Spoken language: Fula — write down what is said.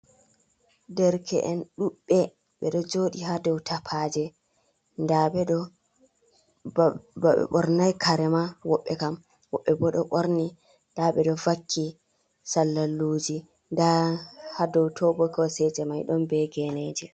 Derke’en ɗuɗ be ɓeɗo joɗi ha dau tapaje, nda ɓe ɗo ba ɓe ɓornai karema, woɓɓe kam, woɓɓe bo ɗo ɓorni nda ɓe ɗo vakki sallalluji, nda ha dou to bo koseje mai ɗon be geneji.